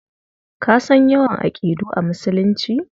Ka san yawan aƙidu a Musulunci?